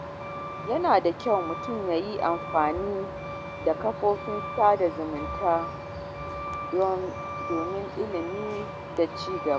Yana da kyau mutum ya yi amfani da kafofin sada zumunta don ilimi da ci gaba.